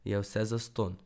Je vse zastonj.